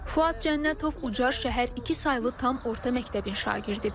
Fuad Cənnətov Ucar şəhər iki saylı tam orta məktəbin şagirdidir.